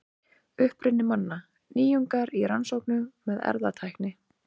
Uppruni manna: Nýjungar í rannsóknum með erfðatækni.